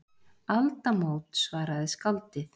Aldamót, svaraði skáldið.